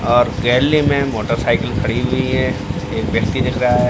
और गेलेरी में मोटरसाइकल खड़ी हुई है एक व्यक्ति दिख रहा है।